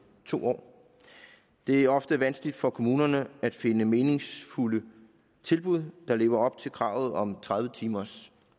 to år det er ofte vanskeligt for kommunerne at finde meningsfulde tilbud der lever op til kravet om tredive timers